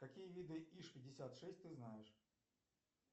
какие виды иж пятьдесят шесть ты знаешь